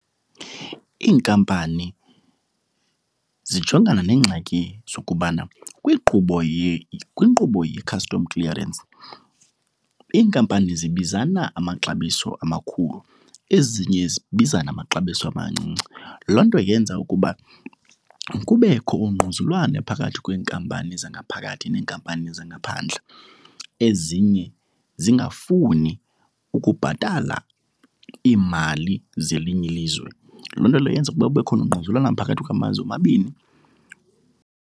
Iinkampani zijongana neengxaki zokubana kwinkqubo kwinkqubo ye-custom clearance iinkampani zibizana amaxabiso amakhulu, ezinye zibizane amaxabiso amancinci. Loo nto yenza ukuba kubekho ungquzulwano phakathi kweenkampani zangaphakathi neenkampani zangaphandle, ezinye zingafuni ukubhatala iimali zelinye ilizwe. Loo nto leyo yenza kube khona ungquzulwano phakathi kwamazwe omabini.